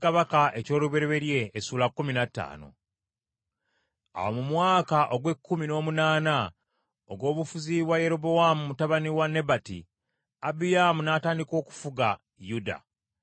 Awo mu mwaka ogw’ekkumi n’omunaana ogw’obufuzi bwa Yerobowaamu mutabani wa Nebati, Abiyaamu n’atandika okufuga Yuda.